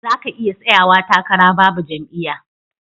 Zaka iya tsayawa takara Babu jam'iya